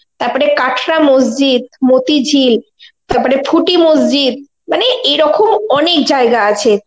তারপরে কাঠড়া মসজিদ, মতিঝিল, তারপরে ফুটি মসজিদ মানে এরকম অনেক জায়গা আছে.